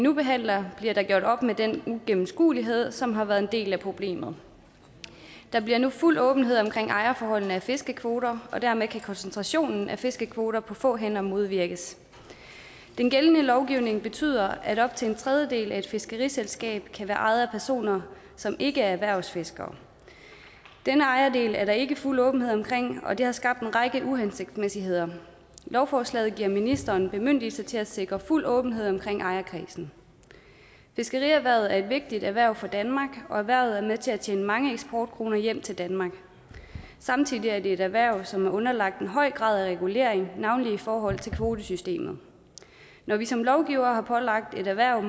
nu behandler bliver der gjort op med den uigennemskuelighed som har været en del af problemet der bliver nu fuld åbenhed om ejerforholdene vedrørende fiskekvoter og dermed kan koncentrationen af fiskekvoter på få hænder modvirkes den gældende lovgivning betyder at op til en tredjedel af et fiskeriselskab kan være ejet af personer som ikke er erhvervsfiskere den ejerandel er der ikke fuld åbenhed om og det har skabt en række uhensigtsmæssigheder lovforslaget giver ministeren bemyndigelse til at sikre fuld åbenhed om ejerkredsen fiskerierhvervet er et vigtigt erhverv for danmark og erhvervet er med til at tjene mange eksportkroner hjem til danmark samtidig er det et erhverv som er underlagt en høj grad af regulering navnlig i forhold til kvotesystemet når vi som lovgivere har pålagt et erhverv